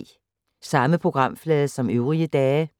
Samme programflade som øvrige dage